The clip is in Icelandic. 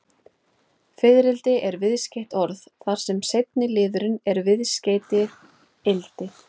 Fiðrildi er viðskeytt orð, þar sem seinni liðurinn er viðskeytið-ildi.